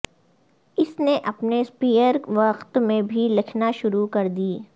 اس نے اپنے اسپیئر وقت میں بھی لکھنا شروع کردی